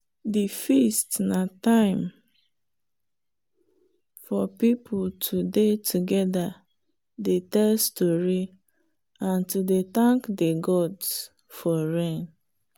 the feast na time for people to dey together dey tell story and to dey thank the gods for rain.